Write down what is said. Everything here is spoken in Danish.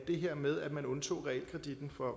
det her med at man undtog realkreditten